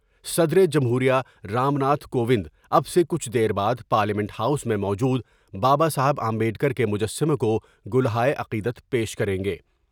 صدر جمہور یہ رام ناتھ کوونداب سے کچھ دیر بعد پارلیمنٹ ہاؤس میں موجود بابا صاحب امبیڈ کر کے مجسّمے کو گلہائے عقیدت پیش کر ینگے ۔